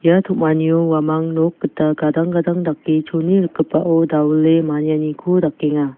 ia tom·anio uamang nok gita gadang gadang dake chone rikgipao dawile manianiko dakenga.